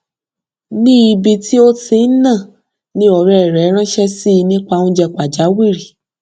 ní ibi tí ó ti ń nà ni ọrẹ rẹ ránṣẹ sí i nípa oúnjẹ pàjáwìrì